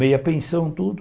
Meia pensão, tudo.